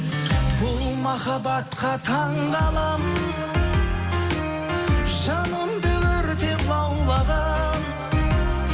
бұл махаббатқа таңғаламын жанымды өртеп лаулаған